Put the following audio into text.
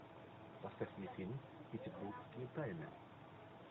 поставь мне фильм петербургские тайны